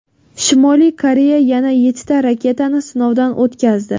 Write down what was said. Shimoliy Koreya yana yettita raketani sinovdan o‘tkazdi.